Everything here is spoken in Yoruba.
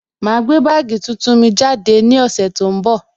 Ma gbé bagii tuntun mi jáde ní ọ̀sẹ̀ tó ń bọ̀